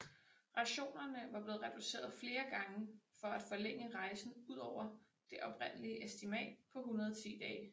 Rationerne var blevet reduceret flere gange for at forlænge rejsen ud over det oprindelige estimat på 110 dage